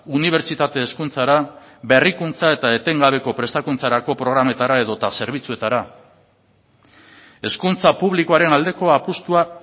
unibertsitate hezkuntzara berrikuntza eta etengabeko prestakuntzarako programetara edota zerbitzuetara hezkuntza publikoaren aldeko apustua